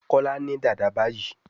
Kola ní Dàda bayí.